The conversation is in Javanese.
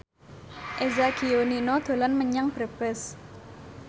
Eza Gionino dolan menyang Brebes